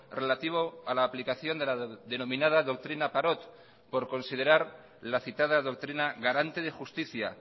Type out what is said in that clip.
relativo a la aplicación de la denominada doctrina parot por considerar la citada doctrina garante de justicia